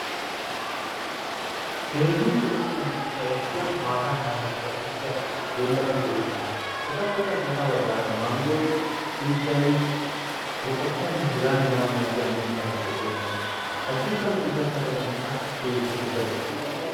Keehin lo'iyanne ufayssiyaa maata kaametida uttida dembba de'oosona. etappe sintta baggara manggoy, xiiday, moqqotaynne heganne hegaa malatiyaa mittati de'oosona, haddirssanne ushachca baggan qassi keettetikka de'oosona.